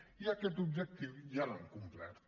i aquest objectiu ja l’han complert